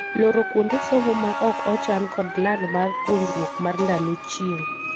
Loro kuonde somo ma ok ochan kod lal mar puonjruok mar ndalo chieng'.